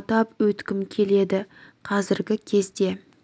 атап өткім келеді қазіргі кезде